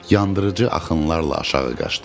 Yandırıcı axınlarla aşağı qaçdı.